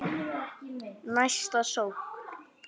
Næsta sókn.